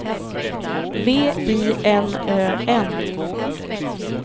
V I N Ö N